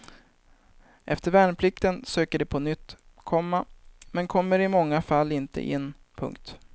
Efter värnplikten söker de på nytt, komma men kommer i många fall inte in. punkt